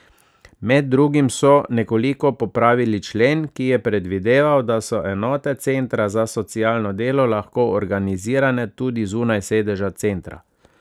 Med drugim so nekoliko popravili člen, ki je predvideval, da so enote centra za socialno delo lahko organizirane tudi zunaj sedeža centra.